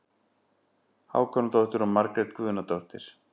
Hákonardóttir og Margrét Guðnadóttir.